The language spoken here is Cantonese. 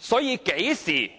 究竟